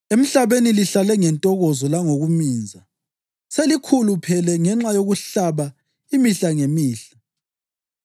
Emhlabeni lihlale ngentokozo langokuminza. Selikhuluphele ngenxa yokuhlaba imihla ngemihla.